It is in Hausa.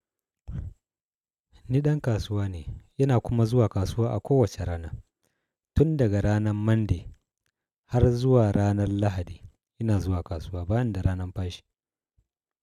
Nidan kasuwa ne, yana kuma zuwa kasuwa a kowace rana. Tun daga ranan Monday har zuwa ranan Lahadi, ina zuwa kasuwa ban da ranan fashi.